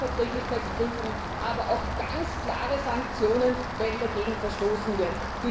Umweltverträglichkeitsprüfungen, aber auch ganz klare Sanktionen, wenn dagegen verstoßen wird.